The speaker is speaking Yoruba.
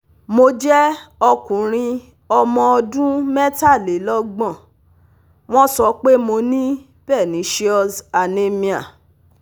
Mo jẹ́ okunrin ọmọ ọdún metalelogbon, wọ́n so pe mo ní pernecious anemia